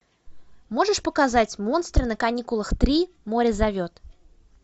можешь показать монстры на каникулах три море зовет